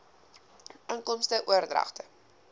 inkomste oordragte